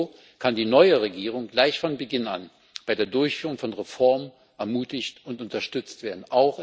So kann die neue Regierung gleich von Beginn bei der Durchführung von Reformen ermutigt und unterstützt werden.